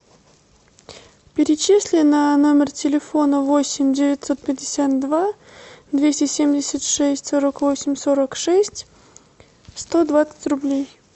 перечисли на номер телефона восемь девятьсот пятьдесят два двести семьдесят шесть сорок восемь сорок шесть сто двадцать рублей